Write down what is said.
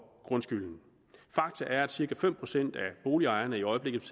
grundskylden fakta er at cirka fem procent af boligejerne i øjeblikket